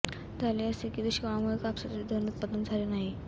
झाले असे की दुष्काळामुळे कापसाचे धड उत्पादन झाले नाही